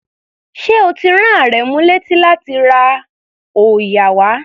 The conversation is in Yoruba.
Ṣé o ti rán Àrẹ̀mú léti láti ra òòyà wá?